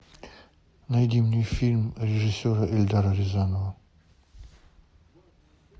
найди мне фильм режиссера эльдара рязанова